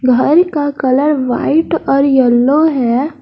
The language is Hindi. घर का कलर व्हाइट और यलो है।